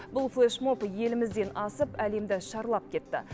бұл флешмоб елімізден асып әлемді шарлап кетті